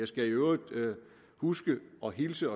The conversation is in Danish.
skal i øvrigt huske at hilse